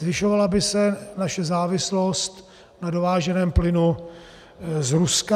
Zvyšovala by se naše závislost na dováženém plynu z Ruska.